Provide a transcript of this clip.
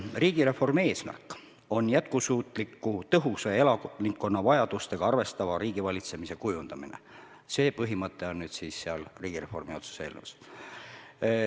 Riigireformi eesmärk on jätkusuutliku, tõhusa ja elanikkonna vajadustega arvestava riigivalitsemise kujundamine – see põhimõte on riigireformi otsuse eelnõus.